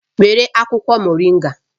Were akwukwo Moringa